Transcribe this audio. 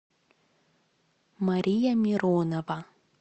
мария миронова